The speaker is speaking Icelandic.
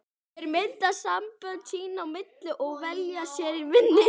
Þeir mynda sambönd sín á milli og velja sér vini.